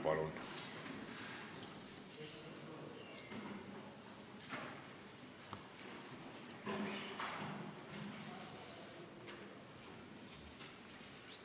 Palun!